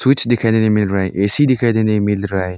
Switch दिखाई देने को मिल रहा है ए_सी दिखाई देने की मिल रहा है।